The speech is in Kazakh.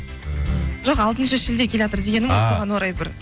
ііі жоқ алтыншы шілде келатыр дегенім ғой соған орай бір